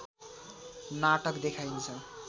नाटक देखाइन्छ